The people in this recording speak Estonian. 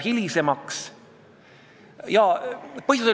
Hääletamisest ma kõnelesin siin puldis, ma arvan, viis minutit tagasi.